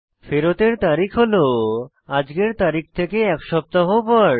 ফেরতের তারিখ হল আজকের তারিখ থেকে এক সপ্তাহ পর